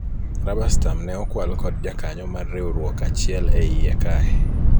raba stam ne okwal kod jakanyo mar riwruok achiel e iye kae